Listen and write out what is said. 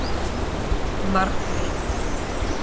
Margrét